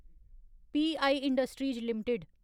प I industries limited